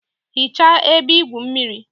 Hichaa ebe igwu mmiri!